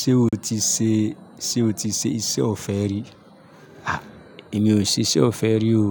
Ṣé o ti ṣe, ṣe o ti ṣe iṣẹ́ ọ̀fẹ́ rí? À, èmi ò ṣe iṣẹ́ ọ̀fẹ́ rí o.